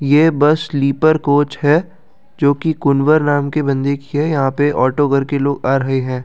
ये bus sleeper coach है जो कि कुनवर नाम के बंदे की है यहाँ पे ऑटो घर के लोग आ रहे हैं।